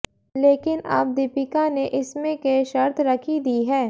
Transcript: लेकिन अब दीपिका ने इसमें के शर्त रखी दी है